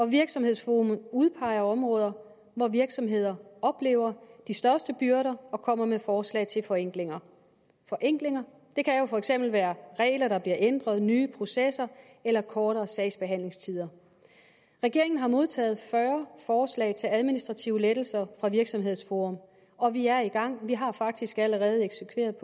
virksomhedsforum udpeger områder hvor virksomheder oplever de største byrder og kommer med forslag til forenklinger forenklinger kan jo for eksempel være regler der bliver ændret nye processer eller kortere sagsbehandlingstider regeringen har modtaget fyrre forslag til administrative lettelser fra virksomhedsforum og vi er i gang vi har faktisk allerede eksekveret